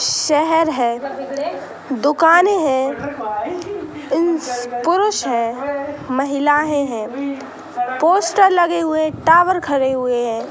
शहर है दुकाने हैं उस पुरुष हैं महिलाये हैं पोस्टर लगे हुए टावर खड़े हुए हैं।